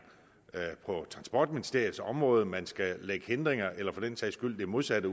på transportministeriets område man skal lægge hindringer ud eller for den sags skyld det modsatte